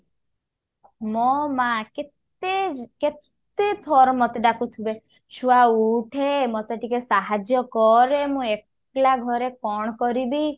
ମୋ ମାଆ କେତେ କେତେ ଥର ମୋତେ ଡାକୁଥିବେ ଛୁଆ ଉଠେ ମୋତେ ଟିକେ ସାହାର୍ଯ୍ୟ କରେ ମୁଁ ଏକଲା ଘରେ କଣ କରିବି